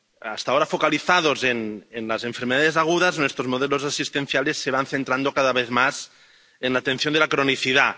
Hasta ahora focalizados en las enfermedades agudas, estos modelos asistenciales se van centrando cada vez más en la atención de la cronicidad.